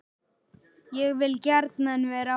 Ég vil gjarnan vera áfram.